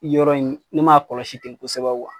Yɔrɔ in ne m'a kɔlɔsi kosɛbɛ kuwa.